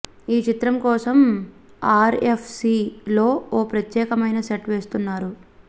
ఈ చిత్రం కోసం ఆర్ ఎఫ్ సి లో ఓ ప్రత్యేకమైన సెట్ వేస్తున్నారు